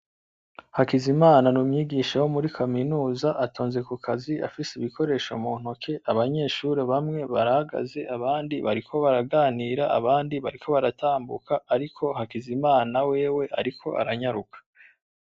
Hakizimana n'umwigisha wo muri kaminuza atonze kukazi, afise ibikoresho muntoke. Abanyeshure bamwe barahagaze, abandi bariko baraganira, abandi bariko baratambuka, ariko Hakizimana wewe ariko aranyaruka.